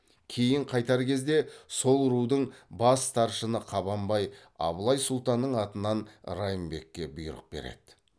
кейін қайтар кезде сол рудың бас старшыны қабанбай абылай сұлтанның атынан райымбекке бұйрық береді